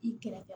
I kɛrɛfɛ